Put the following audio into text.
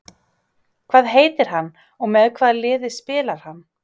Hvað heitir hann og með hvaða liði spilar hann?